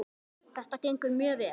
Þetta gengur mjög vel.